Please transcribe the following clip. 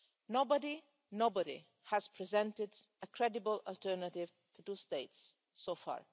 Nobody nobody has presented a credible alternative to two states so far.